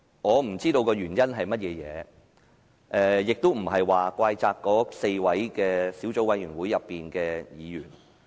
我不知道原因是甚麼，亦並非怪責那4位小組委員會的委員。